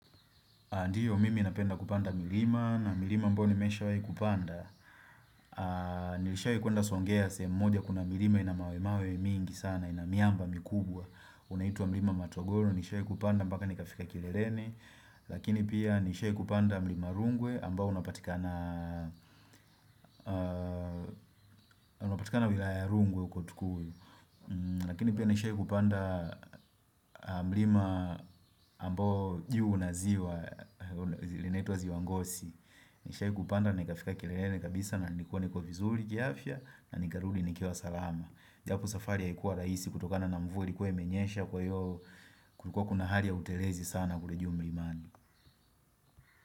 Ndio, mimi inapenda kupanda milima, na milima ambayo nimeshawahi kupanda, nilishawahi kuenda songea, sehemu moja kuna milima ina mawemawe mingi sana, ina miamba mikubwa, unaitwa mlima matogoro, nishawahi kupanda, mpaka nikafika kileleni. Lakini pia nishawahi kupanda mlima rungwe, ambao unapatikana unapatikana wilaya ya rungwe huko tukui. Lakini pia nishai kupanda mlima ambao huwa na ziwa, linaitwa ziwa Ngosi. Nishawahi kupanda nikafika kileleni kabisa na nilikuwa niko vizuri kiafya na nikarudi nikiwa salama. Japo safari haikuwa rahisi kutokana na mvua ilikuwa imenyesha, kwa hiyo kulikuwa kuna hali ya utelezi sana kule juu mlimani.